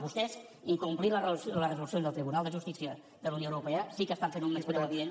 vostès incomplint les resolucions del tribunal de justícia de la unió europea sí que estan fent un menyspreu evident